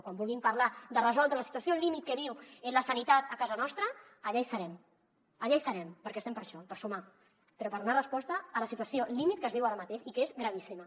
quan vulguin parlar de resoldre la situació límit que viu la sanitat a casa nostra allà hi serem allà hi serem perquè estem per això per sumar però per donar resposta a la situació límit que es viu ara mateix i que és gravíssima